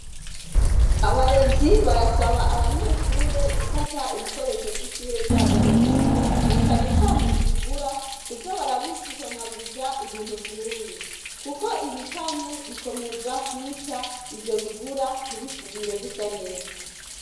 Abarezi barasaba abanyeshure gufata ibikoresho vy’ishure vyabo neza. Na cane cane ibigura, kuza barabihanaguza ibintu vyumye ,kuko ibikanye bikomeza kwica ivyo bigura ntibisubire gusa neza.